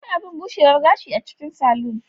Akwai abun bushewar gashi a cikin salon.